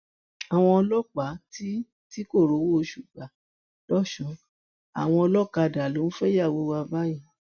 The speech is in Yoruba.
àwọn ọlọpàá tí tí kò rówó oṣù gbà lọsùn àwọn ọlọkadà ló ń fẹyàwó wa báyìí